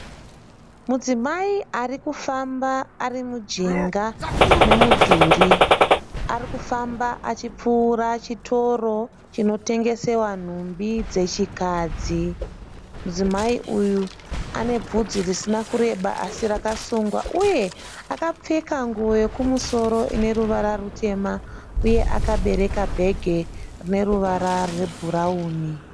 Mudzimai arikufamba arimujinga memudhuri. Arikufamba achipfuura chitoro chinotengesewa nhumbi dzechikadzi. Mudzimai uyu anevhudzi risina kureba asi rakasungwa, uye akapfeka nguwo yekumosoro ineruvara rutema uye akabereka bhegi rineruvara rwebhurawuni.